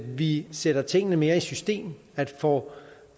vi sætter tingene mere i system at vi får